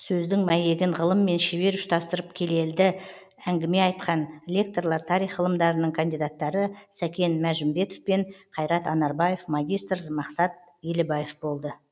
сөздің мәйегін ғылыммен шебер ұштастырып келелді әңгіме айтқан лекторлар тарих ғылымдарының кандидаттары сәкен мәжімбетов пен қайрат анарбаев магистр мақсат елібаев болды